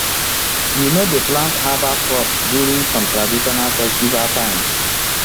we no dey plant herbal crops during some traditional festival times